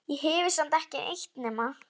Ég hefi samt ekki eytt nema